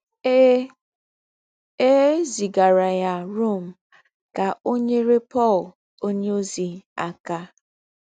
È È zìgàrà yá Rom ká ò nyérè Pọ̀l ònyèózì àká.